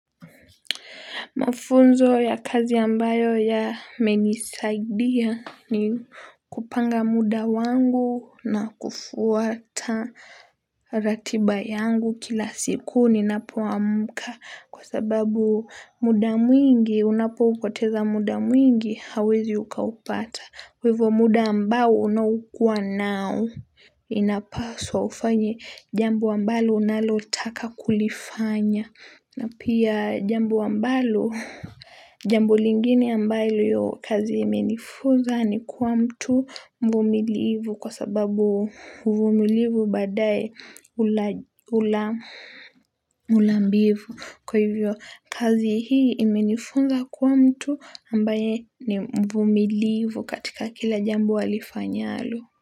Mafunzo ya kazi ambayo ya menisaidia ni kupanga muda wangu na kufuata ratiba yangu kila siku ninapoamka kwa sababu muda mwingi unapo upoteza muda mwingi hauwezi ukaupata kwa hivo muda ambao unaokuwa nao. Inapaswa ufanye jambo ambalo unalotaka kulifanya. Na pia jambo ambalo, jambo lingine ambayo kazi imenifunza ni kuwa mtu mvumilivu kwa sababu mvumilivu baadaye hula mbivu. Kwa hivyo kazi hii imenifunza kuwa mtu ambaye ni mvumilivu katika kila jambo alifanyalo.